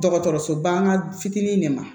Dɔgɔtɔrɔsoba fitinin de ma